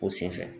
O senfɛ